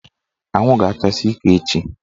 Anwụ ga-achasi ike echi